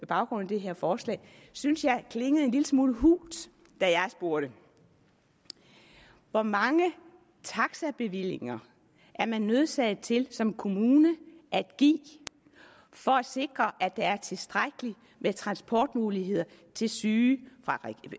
baggrund af det her forslag synes jeg klingede en lille smule hult da jeg spurgte hvor mange taxabevillinger er man nødsaget til som kommune at give for at sikre at der er tilstrækkelig med transportmuligheder til syge